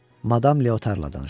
Madam Leotarla danışır.